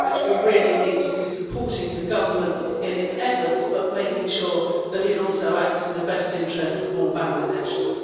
We really need to be supporting the government in its efforts, but making sure but that it also acts in the best interests of all Bangladeshis.